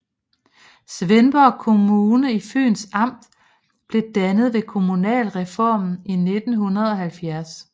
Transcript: Svendborg Kommune i Fyns Amt blev dannet ved kommunalreformen i 1970